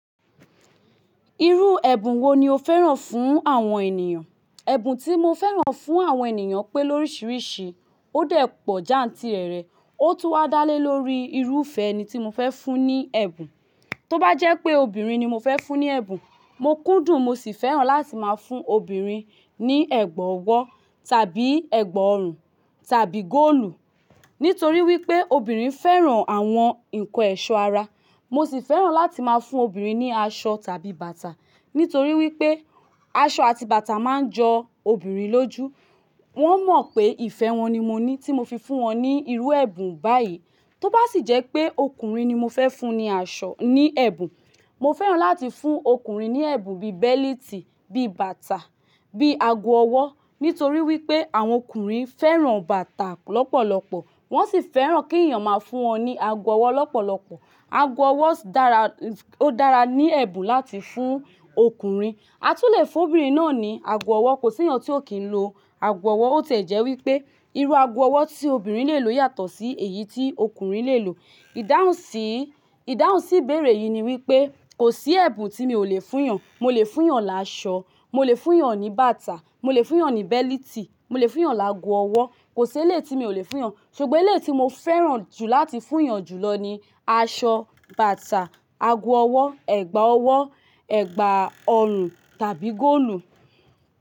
Irú ẹ̀bùn wo ni o fẹ́ràn fún àwọn ènìyàn? Ẹ̀bùn tí mo fẹ́ràn fún àwọn ènìyàn pé lóríṣìíríṣìí, ó dẹ̀ pọ̀ já̀ńtìrẹrẹ, ó tún wá dálé lórí irúfẹ́ eni tí mo fẹ́ fún ní ẹ̀bùn. Tó bá jẹ́ pé obìnrin ni mo fẹ́ fún ní ẹ̀bùn, mo kúndùn mo sì fẹ́ràn láti máa fún obìnrin ní ẹ̀gbà ọwọ́ tàbí ẹ̀gbà ọrùn tàbí góòlù. Nítorí wípé obìnrin fẹ́ràn àwọn ǹnkan ẹ̀ṣọ́ ara. Mo sì fẹ́ràn láti máa fún obìnrin ní aṣọ tàbí bàtà. Nítorí wípé aṣọ àti bàtà máa ń jọ obìnrin lójú. Wọ́n mọ̀ pé ìfẹ́ wọn ni mo ní tí mo fi fún wọn ní irú ẹ̀bùn báyìí. Tó bá sì jẹ́ pé ọkùnrin ni mo fẹ́ fún ní aṣọ, ní ẹ̀bùn, mo fẹ́ràn láti fún ọkùnrin ní ẹ̀bùn bí i bẹ́liítì, bíi bàtà, bíi ago ọwọ́. Nítorí wípé àwọn ọkùnrin fẹ́ràn bàtà lọ́pọ̀lọpọ̀. Wọ́n sì fẹ́ràn kí ènìyàn máa fún wọn ní ago ọwọ́ lọ́pọ̀lọpọ̀. Ago ọwọ́ dára, ó dára ní ẹ̀bùn láti fún ọkùnrin. A tún le fún obìnrin náà ní ago ọwọ́, kò sí ènìyàn tí ó kìí lo ago ọwọ́ ó tẹ́ jẹ́ wípé irú ago ọwọ́ tí obìnrin lè lo yàtọ̀ sí èyí tí ọkùnrin lè lò. Ìdáhùn sí, ìdáhùn sí ìbéèrè yìí ni wípé, kò sí ẹ̀bùn tí mi ò lè fún ènìyàn. Mo lè fún ènìyàn láṣọ, mo lè fún ènìyàn ní bàtà, mo lè fún ènìyàn ní bẹ́lítì, mo lè fún ènìyàn lágo ọwọ́. Kò sí eléyii tí mi ò lè fún ènìyàn. Ṣùgbọ́n eléyii tí mo fẹ́ràn jù láti fún ènìyàn jùlọ ni aṣọ, bàtà, ago ọwọ́, ẹ̀gbà ọwọ́, ẹ̀gbà ọrùn tàbí góòlù.